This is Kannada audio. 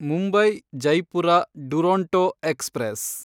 ಮುಂಬೈ–ಜೈಪುರ ಡುರೊಂಟೊ ಎಕ್ಸ್‌ಪ್ರೆಸ್